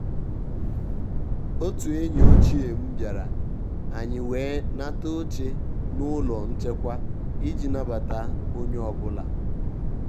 òtù ényì òchíé m bìàrà ànyị́ wèé nàtà óché n’ụ́lọ́ nchékwá ìjí nàbàtà ó nyé ọ́bụ́là.